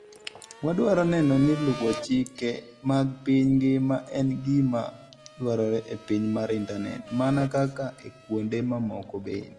Wadwaro neno ni luwo chike mag piny ngima en gima dwarore e piny mar Intanet, mana kaka e kuonde mamoko bende.